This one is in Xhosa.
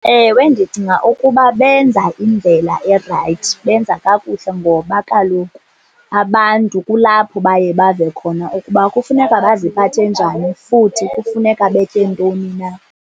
Ewe, ndicinga ukuba benza indlela erayithi, benza kakuhle ngoba kaloku abantu kulapho baye bave khona ukuba kufuneka baziphathe njani futhi kufuneka betye ntoni na.